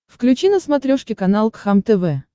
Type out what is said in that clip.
включи на смотрешке канал кхлм тв